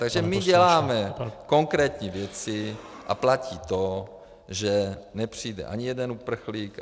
Takže my děláme konkrétní věci a platí to, že nepřijde ani jeden uprchlík.